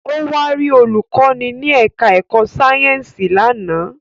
Ó wá rí olùkọ́ni ní ẹ̀ká ẹ̀kọ́ Sáyẹ̀nsì lánàá